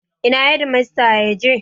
Ina hedimasta ya je?